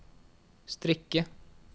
strikke